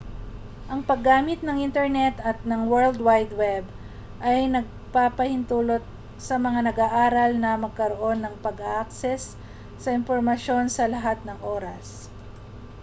ang paggamit ng internet at ng world wide web ay nagpapahintulot sa mga nag-aaral na magkaroon ng pag-access sa impormasyon sa lahat ng oras